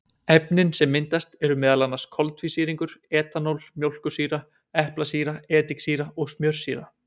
Efnin sem myndast eru meðal annars koltvísýringur, etanól, mjólkursýra, eplasýra, ediksýra og smjörsýra.